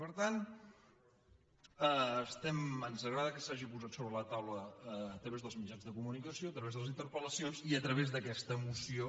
per tant ens agrada que s’hagi posat sobre la taula a través dels mitjans de comunicació a través de les interpelmoció